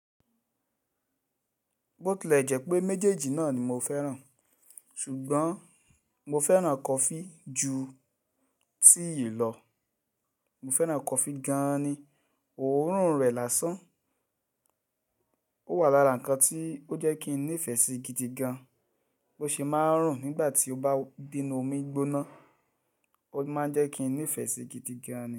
Botile jẹ́ pé méjèèjì náà ni mo fẹ́ràn, ṣùgbọ́n mo fẹ́ràn kọfí ju tea lọ. Mo fẹ́ràn kọfí gan-an ni, òórùn rẹ̀ lásán. Ó wà lára nǹkan tí ó jẹ́ kí n nífẹ̀ẹ́ sí gidi gan, bó ṣe máa ń rùn nígbà tí ó bá de ínnu omi gbóná. Ó máa ń jẹ́ kí n nífẹ̀ẹ́ sí i gidi gan-an ni.